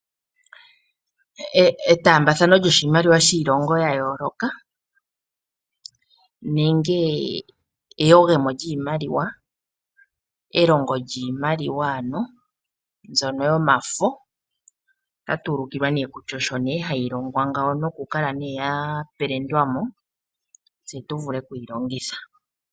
Etaambathano lyiimaliwa yiilongo ya yooloka nenge eyogemo lyiimaliwa, elongo lyiimaliwa mbyono yomafo, ota tu ulikilwa ne kutya osho ne ha yi longwa ngao nokukala ya pelendwa mo, Tse tu vule oku yi longitha.